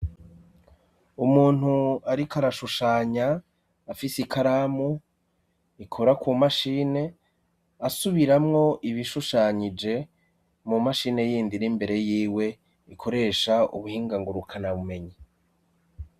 Umuntu ariko arashushanya, afise ikaramu ikora ku mashini asubiramwo ibishushanyije mu mashini yindi imbere y'iwe, ikoresha ubuhinga ngurukanabumenyi.